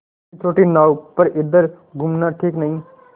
इतनी छोटी नाव पर इधर घूमना ठीक नहीं